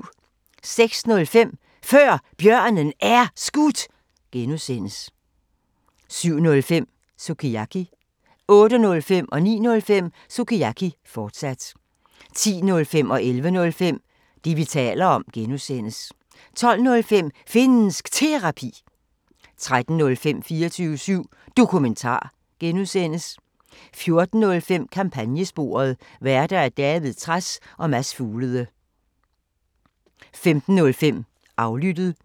06:05: Før Bjørnen Er Skudt (G) 07:05: Sukiyaki 08:05: Sukiyaki, fortsat 09:05: Sukiyaki, fortsat 10:05: Det, vi taler om (G) 11:05: Det, vi taler om (G) 12:05: Finnsk Terapi 13:05: 24syv Dokumentar (G) 14:05: Kampagnesporet: Værter: David Trads og Mads Fuglede 15:05: Aflyttet